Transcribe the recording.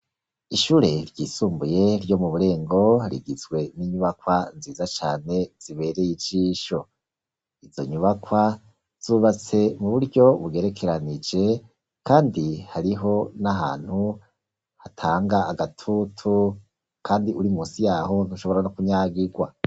Ishure ryisumbuye ryo mu burengo rigitswe n'inyubakwa nziza cane zibereye ijisho, izo nyubakwa zubatse mu buryo bugerekeranije kandi hariho n'ahantu hatanga agatutu, kandi uri munsi yaho ntushobora no kunyagigwa.